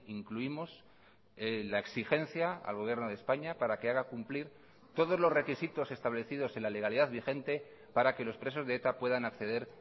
incluimos la exigencia al gobierno de españa para que haga cumplir todos los requisitos establecidos en la legalidad vigente para que los presos de eta puedan acceder